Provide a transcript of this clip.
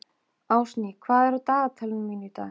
Ásný, hvað er á dagatalinu mínu í dag?